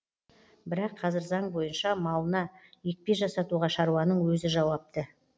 бірақ қазір заң бойынша малына екпе жасатуға шаруаның өзі жауапты